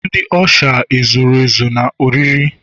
ndi usha $ zuru ezu na oriri?